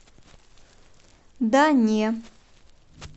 да не